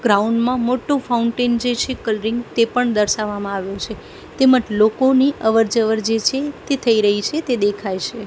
Ground માં મોટું fountain જે છે કલરિંગ તે પણ દર્શાવામાં આવ્યું છે તેમજ લોકોની અવર જવર જે છે તે થઇ રહી છે તે દેખાય છે.